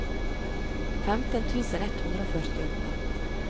femten tusen ett hundre og førtiåtte